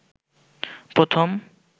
প্রথম